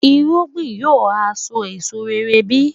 irúgbìn yóò ha so èso rere bí?